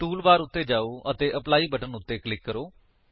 tool bar ਉੱਤੇ ਜਾਓ ਅਤੇ ਐਪਲੀ ਬਟਨ ਉੱਤੇ ਕਲਿਕ ਕਰੋ